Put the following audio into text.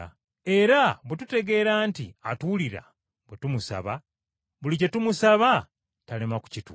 Era bwe tutegeera nti atuwulira bwe tumusaba, buli kye tumusaba talema kukituwa.